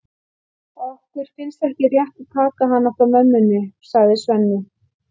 Okkur finnst ekki rétt að taka hann frá mömmunni, sagði Svenni.